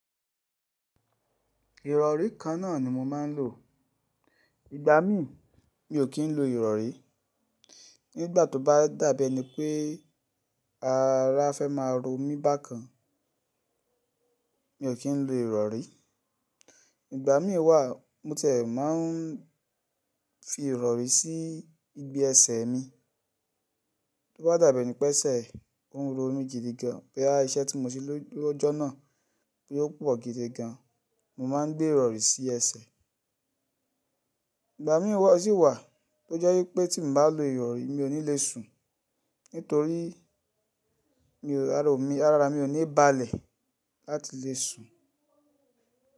Ìrọ̀rí kan náà ni mo máa ń lò. Ìgbà mí mi ò kí ń lo ìrọ̀rí. Nígbà tó bá dàbí ẹni pé ara fẹ́ máa ro mí bákan, mi ò kí ń lo ìrọ̀rí. Ìgbà mí wá mo tẹ̀ máa ń fi ìrọ̀rí sí ibi ẹsẹ̀ mi. Tó bá dàbí ẹni pé ẹsẹ̀ ń ro mi jidi gan, pé iṣẹ́ tí mo ṣe lójo náà pé ó pọ̀ gidi gan, mo máa ń gbé ìrọ̀rí sí ẹsẹ̀. Ìgbà mí wá sì wà tó jẹ́ wípé tí mo bá lo ìrọ̀rí mi ò ní le sùn torí mi ò, ara mi ò ní ibalẹ̀ láti le sùn.